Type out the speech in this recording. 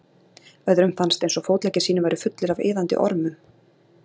Öðrum fannst eins og fótleggir sínir væru fullir af iðandi ormum.